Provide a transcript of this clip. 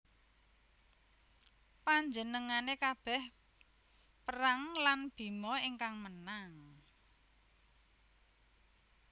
Panjenengane kabeh perang lan Bima ingkang menang